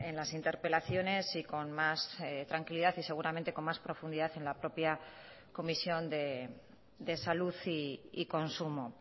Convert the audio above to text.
las interpelaciones y con más tranquilidad y seguramente con más profundidad en la propia comisión de salud y consumo